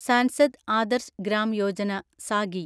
Sansad Adarsh Gram Yojana (Sagi)